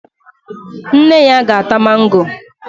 Nne ya ga-ata mango